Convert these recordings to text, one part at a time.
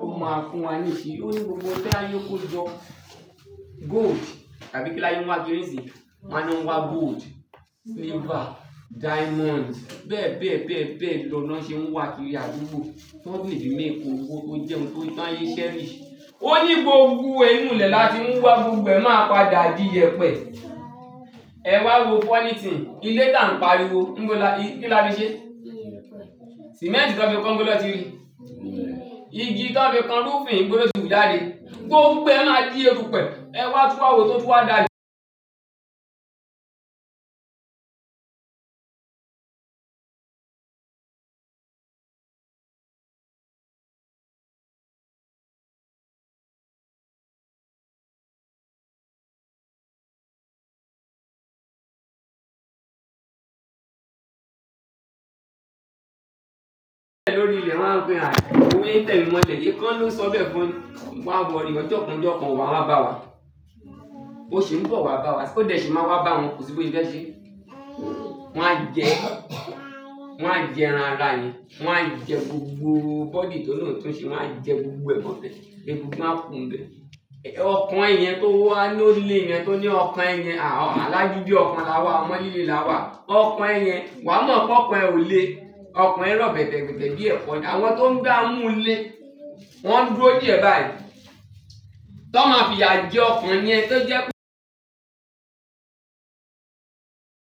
Ó máa fún wa níṣe. Ó ní gbogbo ohun tí ayé nkó jọ, gold tàbí kí l'ayé nwá kiri nísìnyi? Wọn á ni wón wá gold, silver, diamond bẹ́ẹ̀ bẹ́ẹ̀ bẹ́ẹ̀ bẹ́ẹ̀ lọ ni wọ́n ṣe ń wá kiri àdúgbò. Ki wón lè fi méêki owo tó jẹ́ ohun tó dán ilé ṣẹ́ríiṣ. Ó ní gbogbo e inú ilẹ̀ là tí mu wá gbogbo ẹ̀ máa padà di yẹpẹ. Ẹ wá wo fọọ́ni tin, ilé tá ń pariwo, níbo ni a, kí ni a fi ṣe? Cement tí wọ́n fi kọ ńbo lọ tí rí, igi tí wọ́n fi kan rufin ńbo ló ti hù jáde. Gbogbo ẹ́ máa di erupẹ̀ ẹ wá túnwa wo, èyí tó tún wá da. Lórí ilẹ̀ wọ́n á sọ pé àá wo bo n ṣe tẹ́mi mọ́lẹ̀ ìkan ló ń sọ bẹ́ẹ̀ fún, má wọrì ọjọ́ kan ọjọ́ kan wà wá bá wa. Ó sì ń bọ̀ wá bá wa, mo dé ṣì máa wá bá wọn, kò sí bí bẹ́ẹ̀ ṣe. Wọn á jẹ, wa jẹ ẹran ara yẹn, wọn á jẹ gbogbo body tó lọ́ oún tún ṣe máa á jẹ gbogbo ẹ̀ mọ́lẹ̀, de bi n pé máa kú bẹ́. Ọkàn e yẹn tó wà ni o lẹ̀ yẹn, tó ní ọkàn ẹ́ yẹn, à alagidi ọkàn la wà, ọmọ lílé la wà. Ọkàn ẹ́ yẹn, wa mọ̀ pé ọkàn ẹ́ ò le. Ọkàn ẹ́ rọ̀ bẹ̀tẹ̀bẹ̀tẹ̀ bíi ẹ̀kọ́ ni, àwọn tó ń gba mú lé, wọ́n ń dúró díẹ̀ báyìí. Tọ máa fi ìyà jẹ ọkàn yẹn tó jẹ́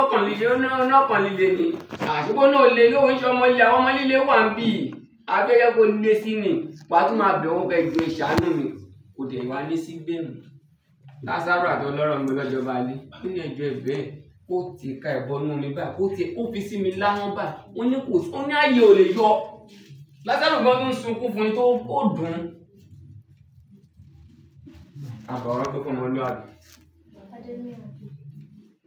Ọkàn lílé, ọ̀ni ọkàn lílé ni, à ṣe bí ó ni ò le ni o ṣé ọmọ ilẹ̀, àwọn ọmọ líle wà níbí. A fẹ́ yọ kó lé sí ni, wa tún máa bẹ̀ wọ́n pé ẹjọ é saanu mí mó dẹ́ wá ní kò dẹ̀ wálé síbí ni. Lazarus ati ọlọ́ro nibo naa jo ba de, o ni ẹ̀jọ́ ebẹ̀, kó ti ka ẹ̀ bọ́nú mi bá, kó ti, ó fi sími láhọn báyi. Mo ní kò sí, ó ní ààyè e ò lè yọ. Lazarus gań tun n sunkún fún un tí ó dùn- Àbọ̀ ọrọ́ tó fọmọluabi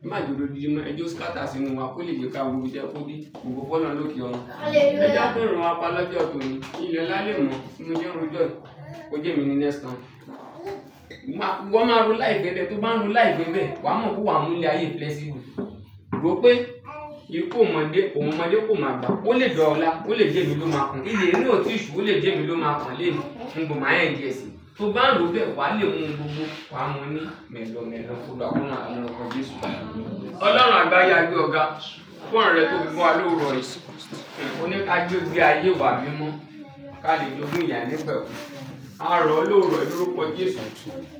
Máa je o dòdindi mọ, ẹ je o scatter sínu wá kó lè gbé ká òru tí ẹ kó bí, Ogo fọlọ́run loke orun. Hallelujah Ẹ je a tero wá pa lọ́jọ́ tòní, ilẹ̀ ọlá lè mọ́, mo sẹ́ ń ro jo, kó jẹ́ mi ni next turn. Iwo máa ro life e bẹ́ẹ̀ tó bá ń ro láì bẹ́ẹ̀ bẹ́ẹ̀, wa mọ̀ pé wàá mú ilé ayé flexible. Ro pé ìkú ò mọ̀ dé, ko mo ọmọdé kò mọ̀ gba, ó lè da ọ́lá, ó lè jẹ́ mi ló máa kan. Ilẹ̀ inú òtí ì ṣù, ó lè jẹ́ mi ló máa kan léèní, níbo máa end ń jẹ́ sí. Tó bá ń ro bẹ́ẹ̀, wa lè mu gbogbo, wa mọ̀ ní mẹ́ẹ̀lọ̀ mẹ́ẹ̀lọ́. Koluwa ko ranb lọ́wọ́ Jesu. Ọlọ́run àgbàye a gbe ọ̀ gá, fún ọ̀rẹ́ tó fi fun wa bo a lówuor ìṣẹ́. Ó ní ká jo gbé ayé iwa mímọ́, ká lè jóògún ìye ainípẹ̀kún. A rọ̀ ọ lóòro yi lórúkọ Jesu.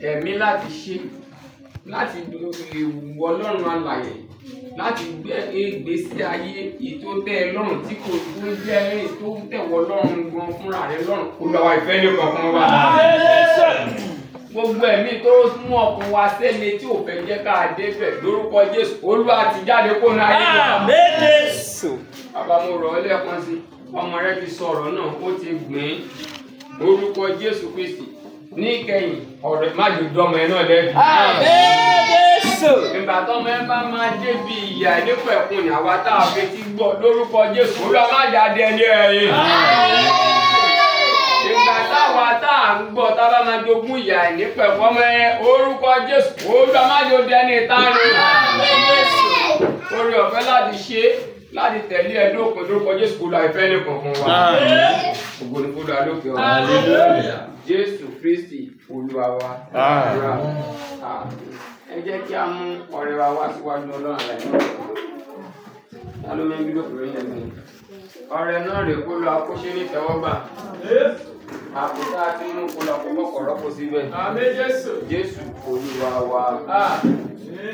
Tẹ̀mí láti ṣe, láti le fi wu iwọ Ọlọ́run alààyè, láti gbé ègbé sí ayé, èyí tó tẹ́ ẹ lọ́run, tí kò tí kò jẹ́ èyí tó ń tẹ̀ wọ Ọlọ́run gan fúnra rẹ lọ́run. Oluwa ìfẹ́ nìkan fún wa. Hallelujah Gbogbo ẹ̀mí tó mú ọkùn wa séle tí ò fẹ́ jẹ́ ká dé bẹ́ẹ̀ lórúkọ Jesu. Olúwa tí jáde kó ni ayé wa. Amen Jesu Baba mo rọ̀ọ́ lẹ́ẹ̀kan si, ọmọ rẹ ti sọ ọ̀rọ̀ náà, ó ti gbìn ín. Lórúkọ Jesu Kristi, ní ìkẹyìn, oro re. A je o dọmọ nà lẹ́ẹ̀bí. Amen Jesu Ìgbà tí ọmọ ẹn bá máa dé bí ìye ainípẹ̀ kú ni, àwa tí a ò fi eti gbọ́ lórúkọ Jesu. Olúwa má jáde ní ẹyin. Amen Jesu Ìgbà tá wá tí à ń gbọ́, tá bá máa jògún ìye ainípẹ̀ ọmọ ẹn, orúkọ Jesu. Olúwa má je dé ẹni ita nu. Amen Jesu Ore ò fẹ́ láti ṣe, láti tẹ̀lé ẹ dọ́pin lórúkọ Jesu. Oluwa fẹ́ nìkankan wa. Amen ogo ni fun Oluwa lọ ke orun. Hallelujah Jesu Kristi, olúwa wa. Amen Ẹ jẹ́ kí a mú ọrẹ wa wá síwájú Ọlọ́run alààyè. Talo ó mọ̀ ebílop yẹn ni. Ọrẹ náà rẹ̀ kó luwa kọ́ṣẹ́ nítewo gba. Àpótí a ti mú kó luwa kọ́fọ́po rọ́pò síbẹ̀. Amen Jesu Jesu olúwa wa. Amen.